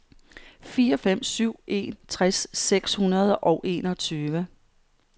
fire fem syv en tres seks hundrede og enogtyve